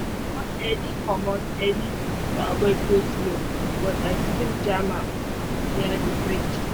i komot early komot early to avoid go-slow but i still jam am near the bridge